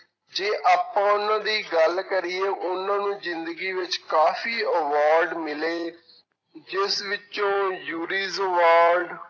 ਜੇ ਆਪਾਂ ਉਹਨਾਂ ਦੀ ਗੱਲ ਕਰੀਏ ਉਹਨਾਂ ਨੂੰ ਜ਼ਿੰਦਗੀ ਵਿੱਚ ਕਾਫ਼ੀ award ਮਿਲੇ ਜਿਸ ਵਿੱਚੋਂ jury award